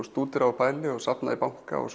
stúdera og pæli og safna í banka og